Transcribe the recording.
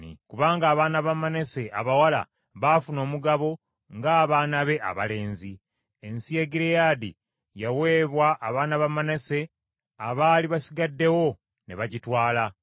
kubanga abaana ba Manase abawala baafuna omugabo ng’abaana be abalenzi. Ensi ya Gireyaadi yaweebwa abaana ba Manase abaali basigaddewo ne bagitwala.